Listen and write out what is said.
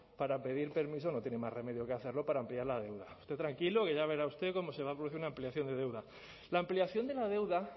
para pedir permiso no tienen más remedio que hacerlo para ampliar la deuda usted tranquilo que ya verá usted cómo se va a producir una ampliación de deuda la ampliación de la deuda